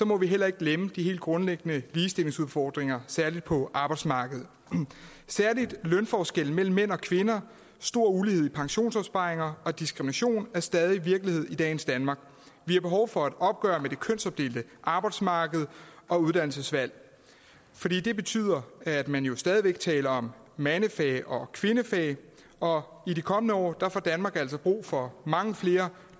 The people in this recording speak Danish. må vi heller ikke glemme de helt grundlæggende ligestillingsudfordringer særlig er på arbejdsmarkedet og lønforskellen mellem mænd og kvinder og stor ulighed i pensionsopsparinger og diskrimination de er stadig virkelighed i dagens danmark vi har behov for et opgør med det kønsopdelte arbejdsmarked og uddannelsesvalg for det betyder at man jo stadig væk taler om mandefag og kvindefag og i de kommende år får danmark altså brug for mange flere